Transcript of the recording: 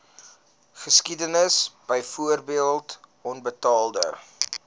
geskiedenis byvoorbeeld onbetaalde